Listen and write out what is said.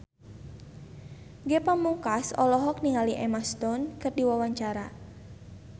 Ge Pamungkas olohok ningali Emma Stone keur diwawancara